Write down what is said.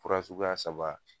Fura suguya saba